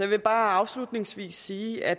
vil bare afslutningsvis sige at